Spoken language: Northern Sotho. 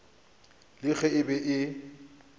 le ge e be e